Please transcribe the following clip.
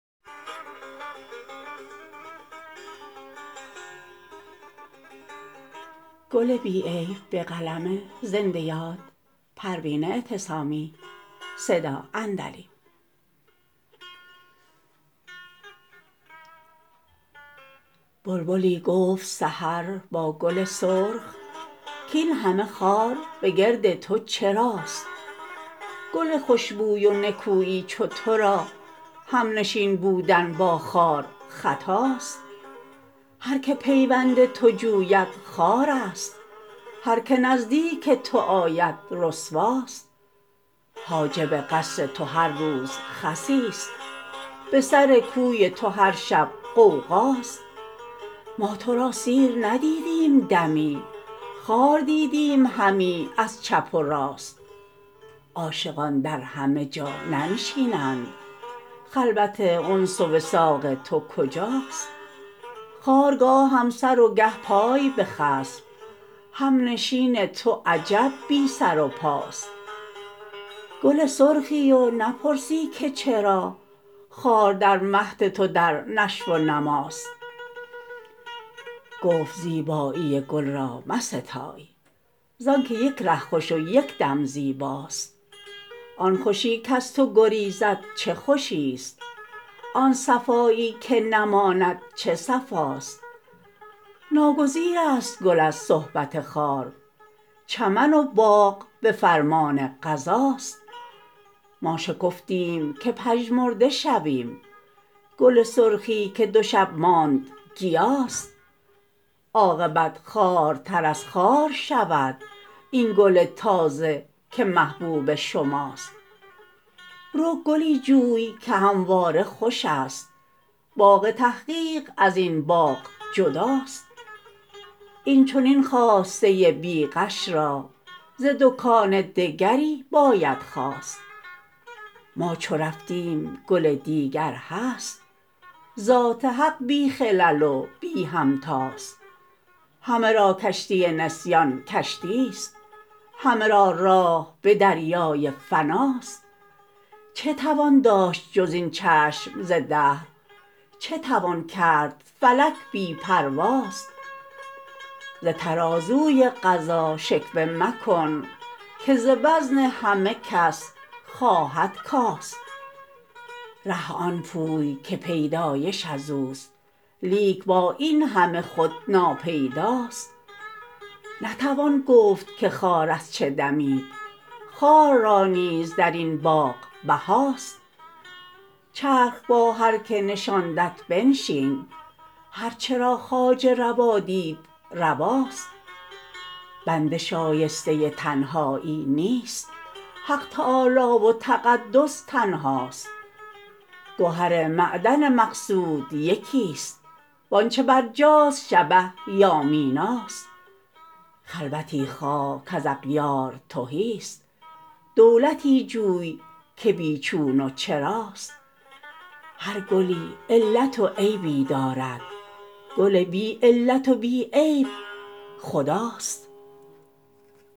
بلبلی گفت سحر با گل سرخ کاینهمه خار به گرد تو چراست گل خشبوی و نکویی چو ترا همنشین بودن با خار خطاست هر که پیوند تو جوید خوار است هر که نزدیک تو آید رسواست حاجب قصر تو هر روز خسی است به سر کوی تو هر شب غوغاست ما تو را سیر ندیدیم دمی خار دیدیم همی از چپ و راست عاشقان در همه جا ننشینند خلوت انس و وثاق تو کجاست خار گاهم سر و گه پای بخسب همنشین تو عجب بی سر و پاست گل سرخی و نپرسی که چرا خار در مهد تو در نشو و نماست گفت زیبایی گل را مستای زانکه یک ره خوش و یکدم زیباست آن خوشی کز تو گریزد چه خوشیست آن صفایی که نماند چه صفاست ناگریز است گل از صحبت خار چمن و باغ بفرمان قضاست ما شکفتیم که پژمرده شویم گل سرخی که دو شب ماند گیاست عاقبت خوارتر از خار شود این گل تازه که محبوب شماست رو گلی جوی که همواره خوشست باغ تحقیق ازین باغ جداست این چنین خواسته بیغش را ز دکان دگری باید خواست ما چو رفتیم گل دیگر هست ذات حق بی خلل و بی همتاست همه را کشتی نسیان کشتیست همه را راه به دریای فناست چه توان داشت جز این چشم ز دهر چه توان کرد فلک بی پرواست ز ترازوی قضا شکوه مکن که ز وزن همه کس خواهد کاست ره آن پوی که پیدایش ازوست لیک با اینهمه خود ناپیداست نتوان گفت که خار از چه دمید خار را نیز درین باغ بهاست چرخ با هر که نشاندت بنشین هر چه را خواجه روا دید رواست بنده شایسته تنهایی نیست حق تعالی و تقدس تنهاست گهر معدن مقصود یکیست وانچه برجاست شبه یا میناست خلوتی خواه کز اغیار تهیست دولتی جوی که بیچون و چراست هر گلی علت و عیبی دارد گل بی علت و بی عیب خداست